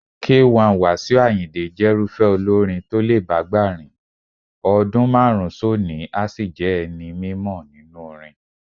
K1 Wasiu Àyìndé jẹ́rúfẹ́ olórin tó lè bágbà rìn, ọdún márùn-ún sónìí a sì jẹ́ ẹni mímọ nínú orin.